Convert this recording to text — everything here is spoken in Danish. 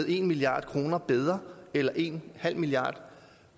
en milliard kroner bedre eller en halv milliard